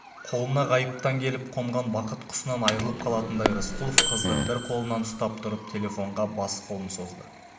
қолына ғайыптан келіп қонған бақыт құсынан айырылып қалатындай рысқұлов қызды бір қолынан ұстап тұрып телефонға бос қолын созды